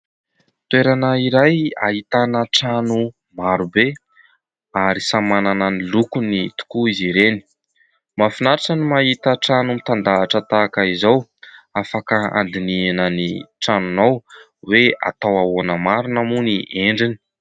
Toerana iray ahitana trano maro be ary samy manana ny lokony tokoa izy ireny. Mahafinaritra ny mahita trano mitandahatra toy izao ahafahanao handinihina ny tranonao hoe atao ahoana marina moa ny endriny.